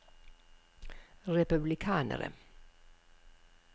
republikanere